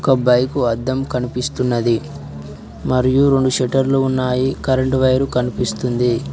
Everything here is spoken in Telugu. బైకు అర్థం కనిపిస్తున్నది మరియు రెండు షెటర్లు ఉన్నాయి కరెంటు వైర్ కనిపిస్తుంది.